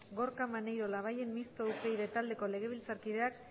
gorka maneiro labayen mistoa upyd taldeko legebiltzarkideak